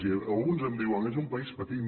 i alguns em diuen és un país petit